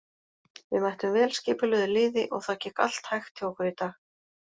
Við mættum vel skipulögðu liði og það gekk allt hægt hjá okkur í dag.